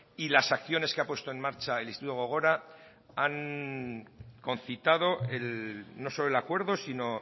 y las acciones que ha puesto en marcha el instituto gogora han concitado no solo el acuerdo sino